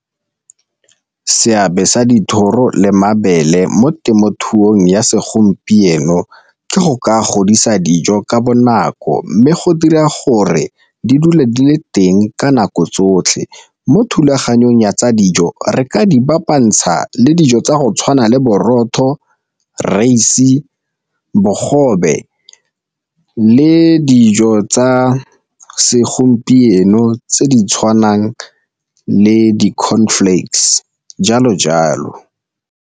Seabe sa dithoro le mabele mo temothuong ya segompieno ke go ka godisa dijo ka bonako mme go dira gore di dule di le teng ka nako tsotlhe. Mo thulaganyong ya tsa dijo re ka di ba kopantsha le dijo tsa go tshwana le borotho, , bogobe le dijo tsa segompieno tse di tshwanang le di-cornflakes jalo jalo.